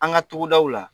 An ka togodaw la